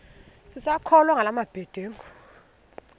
sisakholwa ngala mabedengu